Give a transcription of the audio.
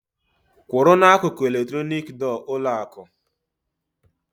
Kwụrụ n'akụkụ eletronik dọọ ụlọ akụǃ